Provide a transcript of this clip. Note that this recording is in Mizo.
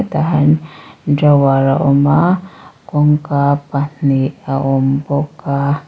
tah hian drawer a awm a kawng ka pahnih a awm bawk a.